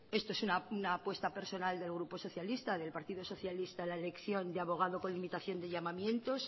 esto es una apuesta personal del grupo socialista del partido socialista la elección de abogado con limitación de llamamientos